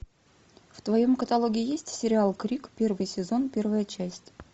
в твоем каталоге есть сериал крик первый сезон первая часть